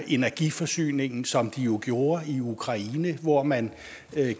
energiforsyningen som de jo gjorde i ukraine hvor man